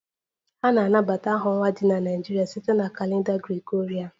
A na-anabata aha ọnwa ndị dị na Naịjirịa site na kalenda Gregorian